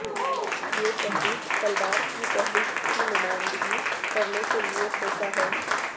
یہ تحریک تلوار کی تحریک کی نمائندگی کرنے کے لئے سوچا ہے